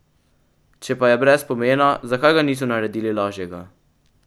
Če pa je brez pomena, zakaj ga niso naredili lažjega?